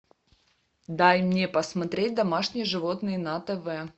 дай мне посмотреть домашние животные на тв